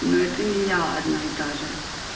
но это не я одна и та же